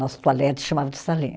Nosso toalete chamava de salinha.